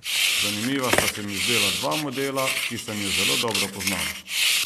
Zanimiva sta se mi zdela dva modela, ki sem ju zelo dobro poznal.